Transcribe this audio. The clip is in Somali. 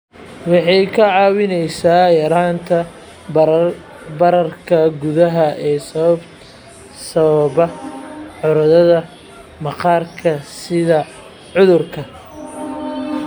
Waxay kaa caawinaysaa yaraynta bararka gudaha ee sababa cudurrada maqaarka sida cudurka